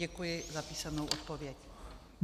Děkuji za písemnou odpověď.